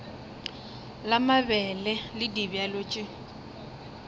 la mabele le dibjalo tše